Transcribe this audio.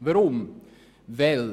Weshalb dies?